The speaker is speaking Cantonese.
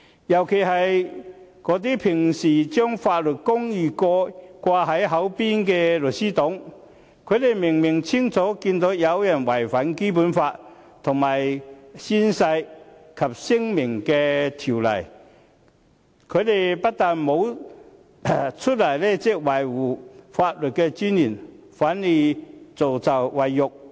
尤其是那些平時將法律公義掛在嘴邊的"律師黨"，他們明明清楚看到有人違反《基本法》和《宣誓及聲明條例》，但他們不但沒有出來維護法律尊嚴，反而助紂為虐。